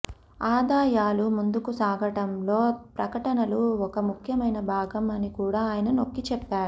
ఆదాయాలు ముందుకు సాగడంలో ప్రకటనలు ఒక ముఖ్యమైన భాగం అని కూడా ఆయన నొక్కిచెప్పారు